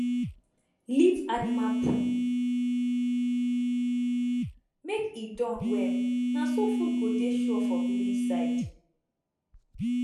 leave animal poo make e Accepted well na so food go dey sure for village side